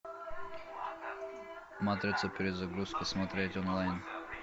матрица перезагрузка смотреть онлайн